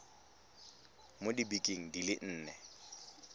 mo dibekeng di le nne